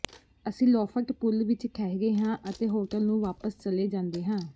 ਅਸੀਂ loft pool ਵਿਚ ਠਹਿਰੇ ਹਾਂ ਅਤੇ ਹੋਟਲ ਨੂੰ ਵਾਪਸ ਚਲੇ ਜਾਂਦੇ ਹਾਂ